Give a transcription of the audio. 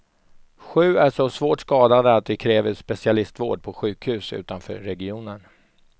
Sju är så svårt skadade att de kräver specialistvård på sjukhus utanför regionen.